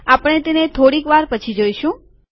આપણે તેને થોડીક વાર પછી જોઈશું